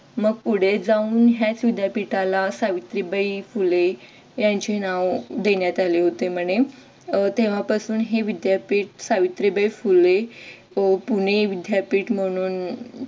मग पुढे जाऊन याच विद्यापीठाला सावित्रीबाई फुले त्यांचे नाव देण्यात आले होते म्हणे अह तेव्हापासून हे विद्यापीठ सावित्रीबाई फुले अह पुणे विद्यापीठ म्हणून